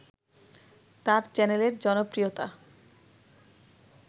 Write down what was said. তার চ্যানেলের জনপ্রিয়তা